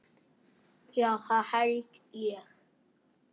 Já, það held ég.